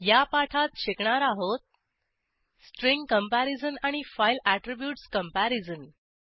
या पाठात शिकणार आहोत स्ट्रिंग कंपॅरिझन आणि फाईल ऍट्रीब्यूटस कंपॅरिझन